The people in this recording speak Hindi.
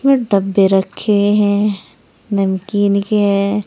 डब्बे रखे हैं नमकीन के है।